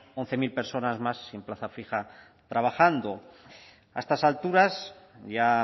once mil personas más sin plaza fija trabajando a estas alturas ya